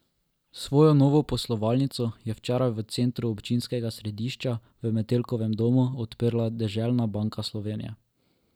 Svojo novo poslovalnico je včeraj v centru občinskega središča v Metelkovem domu odprla Deželna banka Slovenije.